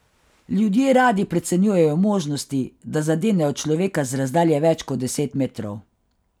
Ljudje radi precenjujejo možnosti, da zadenejo človeka z razdalje več kot deset metrov.